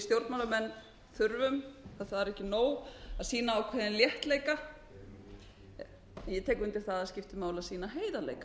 stjórnmálamenn þurfum það er ekki nóg að sýna ákveðinn léttleika en ég tek undir að það skiptir máli að sýna heiðarleika